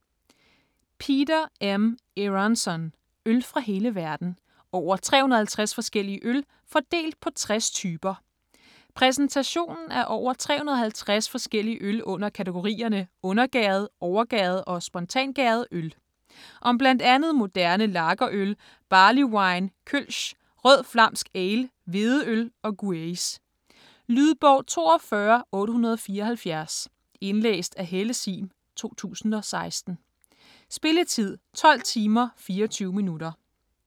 Eronson, Peter M.: Øl fra hele verden: over 350 forskellige øl - fordelt på 60 typer Præsentation af over 350 forskellige øl under kategorierne undergæret, overgæret og spontangæret øl. Om bl.a. moderne lagerøl, barley wine, kölsch, rød flamsk ale, hvedeøl og gueuze. Lydbog 42874 Indlæst af Helle Sihm, 2016. Spilletid: 12 timer, 24 minutter.